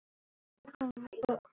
Í þessum ritum lagði